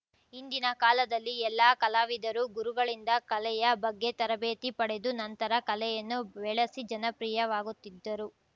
ಹಿಂದಿನ ಕಾಲದಲ್ಲಿ ಎಲ್ಲ ಕಲಾವಿದರು ಗುರುಗಳಿಂದ ಕಲೆಯ ಬಗ್ಗೆ ತರಬೇತಿ ಪಡೆದು ನಂತರ ಕಲೆಯನ್ನು ಬೆಳೆಸಿ ಜನಪ್ರಿಯವಾಗುತ್ತಿದ್ದರು